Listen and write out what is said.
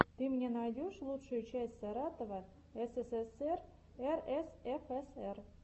ты мне найдешь лучшую часть саратова ссср рсфср